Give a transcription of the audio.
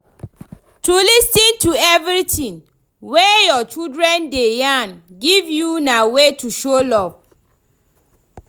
To lis ten to everything way your children de yarn give you na way to show love